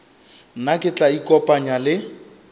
nna ke tla ikopanya le